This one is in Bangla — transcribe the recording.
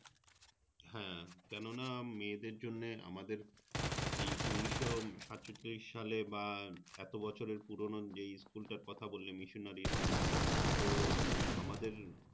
হ্যাঁ কেনোনা মেয়েদের জন্যে আমাদের এই উন্নিশশো সাতচল্লিশ সাল বা এতো বছরের পুরোনো যেই School টার কথা বললে Missionary School তো আমাদের